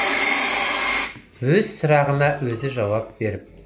өз сұрағына өзі жауап беріп